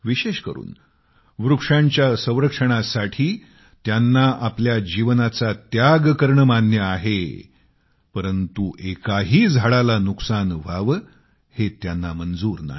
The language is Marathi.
विशेष करून वृक्षांच्या संरक्षणाबाबत त्यांना आपल्या जीवनाचा त्याग करणे मान्य आहे परंतु एकही झाडाला नुकसान व्हावे हे त्यांना मंजूर नाही